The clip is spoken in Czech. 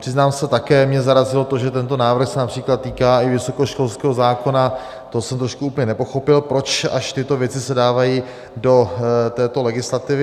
Přiznám se, také mě zarazilo to, že tento návrh se například týká i vysokoškolského zákona - to jsem trošku úplně nepochopil, proč až tyto věci se dávají do této legislativy.